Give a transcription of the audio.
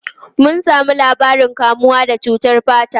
Mun samu labarin kamuwa da cutar fata.